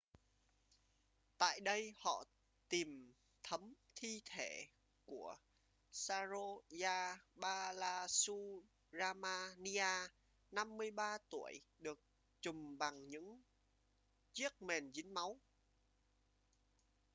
tại đây họ tìm thấm thi thể của saroja balasubramanian 53 tuổi được trùm bằng những chiếc mền dính máu